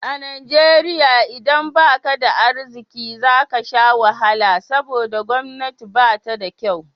A Najeriya idan baka da arziki zaka sha wahala saboda gwamnati ba ta da kyau